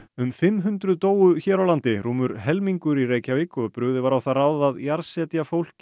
um fimm hundruð dóu hér á landi rúmur helmingur í Reykjavík og brugðið var á það ráð að jarðsetja fólk í